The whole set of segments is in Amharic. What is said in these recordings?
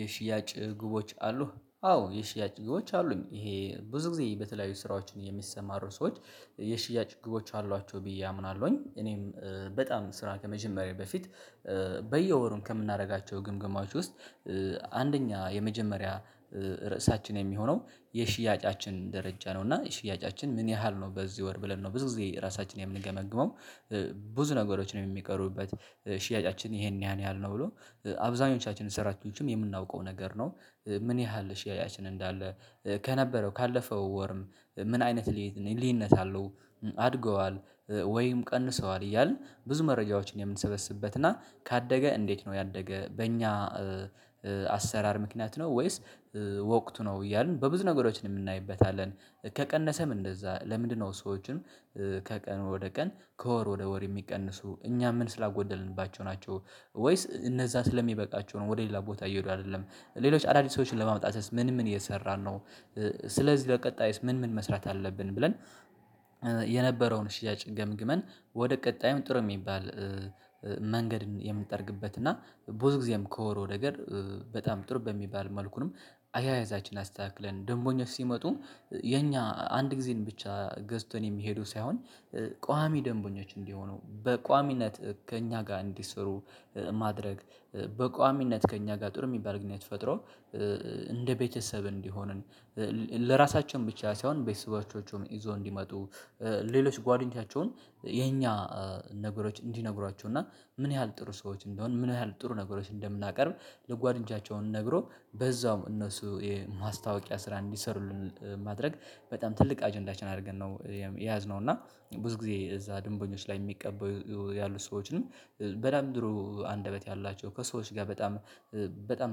የሽያጭ ግቦች አሉህ አዎ የሽያጭ ግቦች አሉኝ ይሄ ብዙ ጊዜ በተለያዩ ስራዎችን የሚሰማሩ ሰዎች የሽያጭ ግቦች አሏቸው ብዬ አምናለሁኝ እኔም በጣም ስራ ከመጀመሪያዬ በፊት። በየወሩም ከምናደርጋቸው ግምገማወችሁ ውስጥ አንደኛ የመጀመሪያ ርዕሳችን የሚሆነው የሽያጫችን ደረጃ ነው እና ሽያጫችን ምን ያህል ነው በዚህ ወር ብለን ነው ብዙ ጊዜ ራሳችንን የምንገመግመው። ብዙ ነገሮችን የሚቀሩበት ሽያጫችን ይሄን ያን ያህል ነው ብሎ አብዛኞቻችንን ሰራችንም የምናውቀው ነገር ነው። ምን ያህል ሽያጭን እንዳለ ከነበረው ካለፈው ወርም ምን አይነት ልዩነት አለው። አድገዋል ወይም ቀንሰዋል እያልን ብዙ መረጃዎችን የምንሰበስብበት እና ካደገ እንዴት ነው ያደገ በእኛ አሰራር ምክንያት ነው ወይስ ወቅቱ ነው እያልን በብዙ ነገሮች እንናይበታለን። ከቀነሰም እንደዛ ለምንድነው ሰዎችን ከቀን ወደ ቀን ከወር ወደ ወር የሚቀንሱ እኛ ምን ስላጎደልንባቸው ናቸው? ወይስ እነዛ ስለሚበቃቸው ነው ወደ ሌላ ቦታ እየሄዱ አይደለም ሌሎች አዳዲስ ሰዎችን ለማምጣት ምን ምን እየሰራን ነው። ስለዚህ በቀጣይስ ምን ምን መስራት አለብን ብለን? የነበረውን ሺያጭ ገምግመን ወደ ቀጣይም ጥሩ የሚባል መንገድን የምንጠርግበት እና ብዙ ጊዜም ከሆነው ነገር። በጣም ጥሩ በሚባል መልኩም አያያዛችን አስተካክለን ደምበኞች ሲመጡ። የኛ አንድ ጊዜን ብቻ ገዝቶን የሚሄደው ሳይሆን። ቋሚ ደንቦኞች እንዲሆኑ በቋሚነት ከእኛ ጋር እንዲሰሩ ማድረግ በቋሚነት ከእኛ ጋር ጥሩ የሚባል ግንኙነት ፈጥሮ። እንደ ቤተሰብ እንዲሆንን ለራሳቸውም ብቻ ሳይሆን ቤተሰቦቻቸውም ይዘው እንዲመጡ። ሌሎች ጓደኞቻቸውን የኛ ነገሮች እንዲነግሯቸው እና ምን ያህል ጥሩ ሰዎች እንደሆን ምን ያህል ጥሩ ነገሮች እንደምናቀርብ። ለጓደኞቻቸው ነግሮ በዛውም እነሱ የማስታወቂያ ስራ እንዲሰሩልን ማድረግ በጣም ትልቅ አጀንዳችን አድርገን ነው የያዝነው። እና ብዙ ጊዜ እዛ ድንበኞች ላይ የሚቀበሉ ያሉት ሰዎችንም በጣም ጥሩ አንደበት ያላቸው ከሰዎች ጋር በጣም በጣም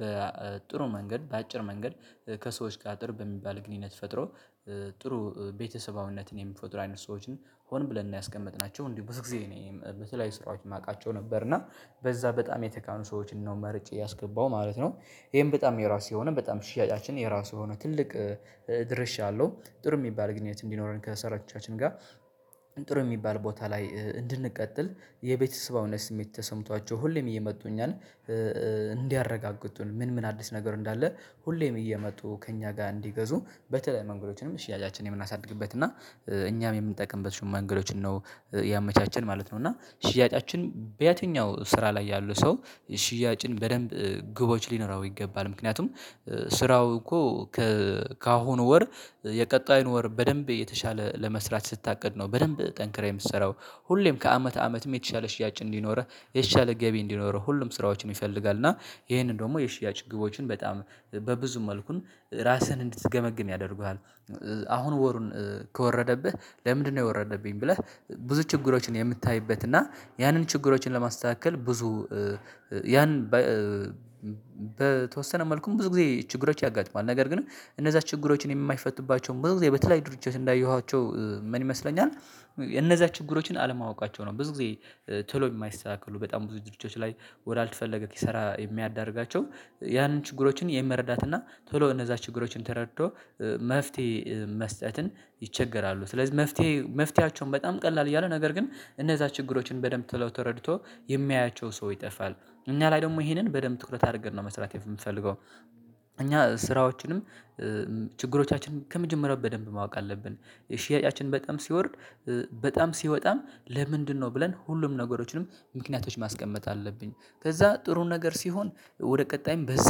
በጥሩ መንገድ በአጭር መንገድ ከሰዎች ጥሩ በሚባል ግንኙነት ፈጥሮ። ጥሩ ቤተሰባዊነትን የሚፈጥሩ አይነት ሰዎችን ሆን ብለን ነው ያስቀመጥናቸው። እንዲሁም ብዙ ጊዜ እኔም በተለያዩ ስራዎች የማውቃቸው ነበር እና በዛ በጣም የተካኑ ሰዎችን ነው መርጬ ያስገባው ማለት ነው። ይሄን በጣም የራሴ ሆነ በጣም ሽያጫችን የራሱ የሆነ ትልቅ ድርሻ አለው ጥሩ የሚባል ግንኙነት እንዲኖረን ከሰራወቻችን ጋር። ጥሩ የሚባል ቦታ ላይ እንድንቀጥል የቤተሰባዊነት ስሜት ተሰምቷቸው ሁሌም እየመጡኝ እኛን እንዲያረጋግጡን ምን ምን አዲስ ነገር እንዳለ። ሁሌም እየመጡ ከእኛ ጋር እንዲገዙ በተለይ መንገዶችንም ሽያጫችንን የምናሳድግበት እና እኛም የምንጠቀምበት መንንገዶችን ነው። ያመቻቸን ማለት ነው እና ሽያጫችን በየትኛው ስራ ላይ ያሉ ሰው ሽያጭን በደንብ ግቦች ሊኖራው ይገባል። ምክንያቱም ስራው እኮ ካሁኑ ወር የቀጣይን ወር በደንብ የተሻለ ለመስራት ስታቅድ ነው በደንብ ጠንክረህ የምትሰራው። ሁሌም ከአመት አመት የተሻለ ሽያጭ እንዲኖርህ የተሻለ ገቢ እንዲኖረው ሁሉም ስራዎችን ይፈልጋል እና ይሄንን ደግሞ የሽያጭ ግቦችን በጣም በብዙ መልኩን ራስህን እንድትገመግም ያደርጉሃል። አሁን ወሩን ከወረደብህ ለምንድነው የወረደብኝ ብለህ? ብዙ ችግሮችን የምታይበት እና ያንን ችግሮችን ለማስተካከል ብዙ ያን በተወሰነ መልኩ ብዙ ጊዜ ችግሮች ያጋጥማል ነገር ግን እነዛ ችግሮችን የማይፈትባቸው ብዙ ጊዜ በተያዩ ድርጅቶች እንዳየኋቸው ምን ይመስለኛል። እነዛ ችግሮችን አለማወቃቸው ነው። ብዙ ጊዜ ቶሎ የማይስተካከሉ በጣም ብዙ ጊዜዎች ላይ ወዳልተፈለገ ኪሳራ የሚያዳርጋቸው ያንን ችግሮችን የመረዳት እና ቶሎ እነዛ ችግሮችን ተረድቶ። መፍትሄ መስጠትን ይቸገራሉ። ስለዚህ መፍትሄ መፍትያቸውን በጣም ቀላል እያለ ነገር ግን እነዛ ችግሮችን በደንብ ቶሎ ተረድቶ የሚያያቸው ሰው ይጠፋል እኛ ላይ ደግሞ ይሄንን በደንብ ትኩረት አድርገን ነው መስራት የምንፈልገው። እኛ ስራዎችንም ችግሮቻችንም ከመጀመሪያው በደንብ ማወቅ አለብን። ሽያጫችን በጣም ሲወርድ በጣም ሲወጣም ለምንድነው ብለን ሁሉም ነገሮችንም ምክንያቶች ማስቀመጥ አለብኝ። ከዛ ጥሩ ነገር ሲሆን ወደ ቀጣይም በዛ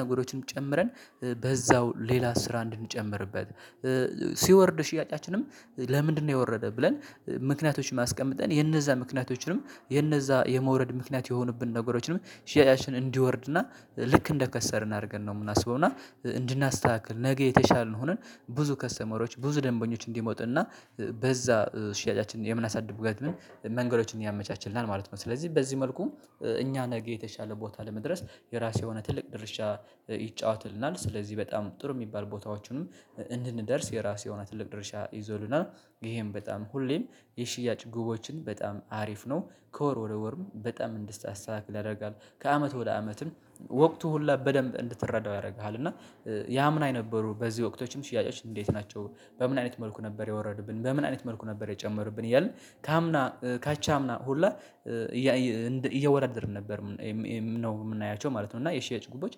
ነገሮችንም ጨምረን በዛው ሌላ ስራ እንድንጨምርበት። ሲወርድ ሽያጫችንም ለምንድነው የወረደ ብለን ምክንያቶችን ማስቀመጥ የነዛ ምክንያቶችንም የነዛ የመውረድ ምክንያት የሆኑብን ነገሮችንም ሽያጭን እንዲወርድና ልክ እንደከሰርን አድርገን ነው የምናስበው። እና እንድናስተካክል ነገ የተሻልን ሆነን ብዙ ከስተመሮች ብዙ ደንበኞች እንዲመጡ እና በዛ ሽያጫችን የምናሳድግበትን መንገዶችን ያመቻችልናል ማለት ነው። ስለዚህ በዚህ መልኩ እኛ ነገ የተሻለ ቦታ ለመድረስ የራሱ የሆነ ትልቅ ድርሻ ይጫወትልናል። ስለዚህ በጣም ጥሩ የሚባል ቦታዎቹንም እንድንደርስ የራሱ የሆነ ትልቅ ድርሻ ይዞልና። ይሄም በጣም ሁሌም የሽያጭ ጉቦችን በጣም አሪፍ ነው። ከወር ወደ ወርም በጣም እንድታስተካክል ያደርጋል። ከአመት ወደ አመትም ወቅቱ ሁሉ በደንብ እንድትረዳው ያደርግሃል። እና የአምና የነበሩ በዚህ ወቅቶችም ሽያጮች እንዴት ናቸው? በምን አይነት መልኩ ነበር የወረዱብን በምን አይነት መልኩ ነበር የጨመሩብን እያልን ከአምና ካቻምና ሁላ እያወዳደርን ነበር ነው የምናያቸው ማለት ነው። እና የሽያጭ ጉቦች